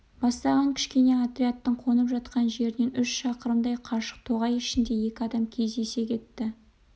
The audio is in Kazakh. бастаған кішкене отрядтың қонып жатқан жерінен үш шақырымдай қашық тоғай ішінде екі адам кездесе кетті